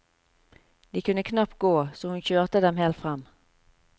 De kunne knapt gå, så hun kjørte dem helt frem.